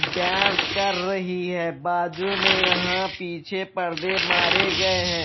Dance कर रही है बाजू में यहां पीछे परदे मारे गए हैं।